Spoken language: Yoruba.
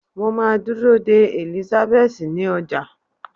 mo ma dúró dè Elizabeth ní ọjà